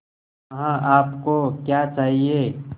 वहाँ आप को क्या चाहिए